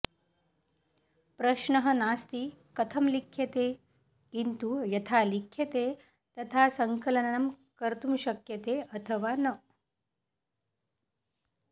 प्रश्नः नास्ति कथं लिख्यते किन्तु यथा लिख्यते तथा संकलनम् कर्तुं शक्यते अथवा न